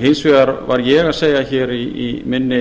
hins vegar var ég að segja hér í mínu